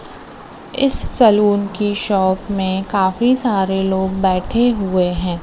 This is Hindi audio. इस सलुन के शॉप में काफी सारे लोग बैठे हुए हैं।